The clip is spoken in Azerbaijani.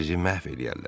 Sizi məhv eləyərlər.